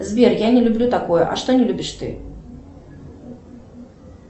сбер я не люблю такое а что не любишь ты